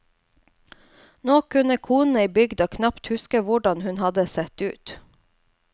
Nå kunne konene i bygda knapt huske hvordan hun hadde sett ut.